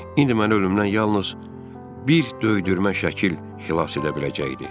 İndi məni ölümdən yalnız bir döydürmə şəkil xilas edə biləcəkdi.